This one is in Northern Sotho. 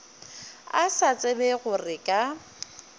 a sa tsebe gore ka